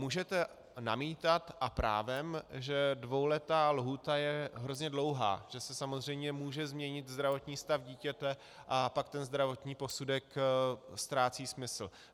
Můžete namítat, a právem, že dvouletá lhůta je hrozně dlouhá, že se samozřejmě může změnit zdravotní stav dítěte, a pak ten zdravotní posudek ztrácí smysl.